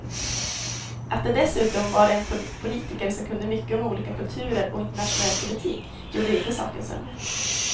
Att det dessutom var en politiker som kunde mycket om olika kulturer och internationell politik gjorde inte saken sämre.